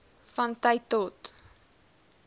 van tyd tot